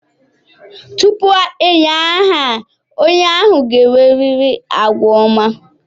Tupu enye aha a, onye ahụ ga-enwerịrị àgwà ọma.